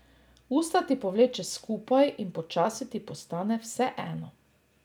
Usta ti povleče skupaj in počasi ti postane vseeno.